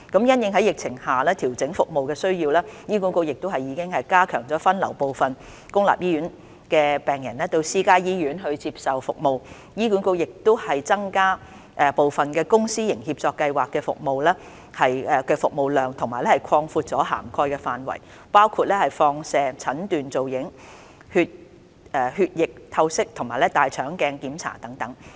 因應在疫情下調整服務的需要，醫管局已加強分流部分公立醫院病人到私家醫院接受服務，並已增加部分公私營協作計劃的服務量和擴闊此計劃的涵蓋範圍，包括放射診斷造影、血液透析及大腸鏡檢查等。